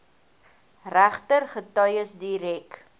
regter getuies direk